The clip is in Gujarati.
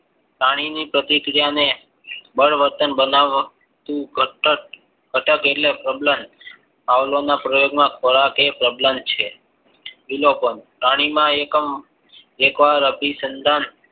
પાણીની પ્રતિક્રિયાને બળવર્તન બનાવાતું ઘાતક એટલે અબલાન પાવલાવ ના પ્રયોગમાં તે પ્રબલન છે વિલોપન પાણીમાં એકમ એક વાર અભિસંદન